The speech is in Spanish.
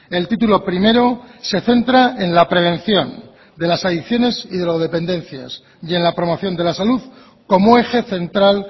el título primero se centra en la prevención de las adicciones y drogodependencias y en la promoción de la salud como eje central